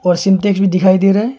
और सिंटेक्स भी दिखाई दे रहा है।